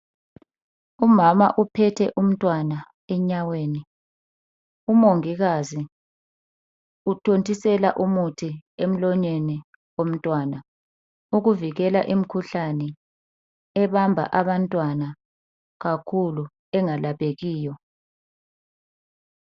Umama uphethe umntwana enyaweni umongikazi uthontisela umuthi emlonyeni womntwana. Ukuvikela imkhuhlane ebamba abantwana kakhulu engalaphekiyo.